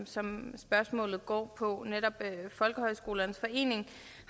som spørgsmålet går på netop folkehøjskolernes forening